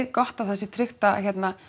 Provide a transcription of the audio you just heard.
gott að það sé tryggt að hérna